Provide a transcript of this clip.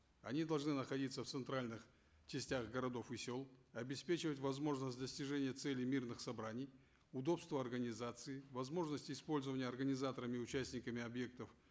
они должны находиться в центральных частях городов и сел обеспечивать возможность достижения целей мирных собраний удобство организации возможность использования организаторами и участниками объектов